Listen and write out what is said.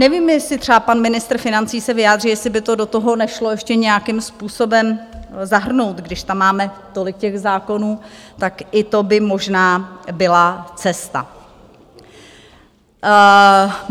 Nevím, jestli třeba pan ministr financí se vyjádří, jestli by to do toho nešlo ještě nějakým způsobem zahrnout, když tam máme tolik těch zákonů, tak i to byla možná byla cesta.